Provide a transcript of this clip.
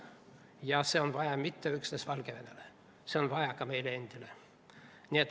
Seda ei ole vaja mitte üksnes Valgevenele, vaid seda on vaja ka meile endile.